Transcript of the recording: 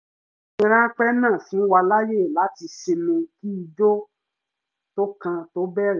ìsinmi ráńpẹ́ náà fún wa láàyè láti sinmi kí ijó tó kàn tó bẹ̀rẹ̀